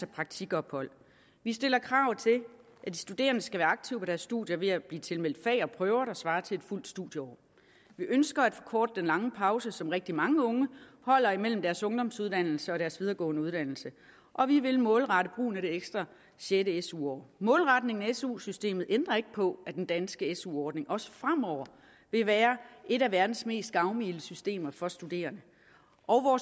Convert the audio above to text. praktikophold vi stiller krav til at de studerende skal være aktive på deres studier ved at blive tilmeldt fag og prøver der svarer til et fuldt studieår vi ønsker at forkorte den lange pause som rigtig mange unge holder imellem deres ungdomsuddannelse og deres videregående uddannelse og vi vil målrette brugen af det ekstra det sjette su år målretningen af su systemet ændrer ikke på at den danske su ordning også fremover vil være et af verdens mest gavmilde systemer for studerende og